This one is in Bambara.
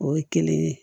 O ye kelen ye